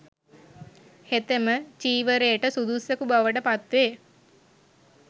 හෙතෙම චීවරයට සුදුස්සකු බවට පත්වේ.